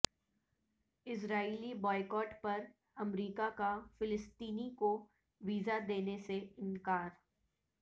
اسرائیلی boycott پر امریکہ کا فلسطینی کو ویزا دینے سے انکار